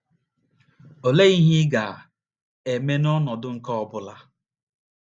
Olee ihe ị ga - eme n’ọnọdụ nke ọ bụla?